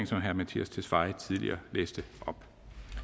som herre mattias tesfaye tidligere læste op